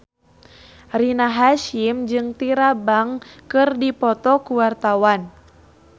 Rina Hasyim jeung Tyra Banks keur dipoto ku wartawan